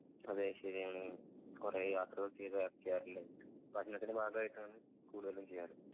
അതെ ശെരിയാണ് കൊറേ യാത്രകൾ ചെയ്ത് പഠനത്തിൻ്റെ ഭാഗായിട്ടാണ് കൂടുതലും ചെയ്യാറ്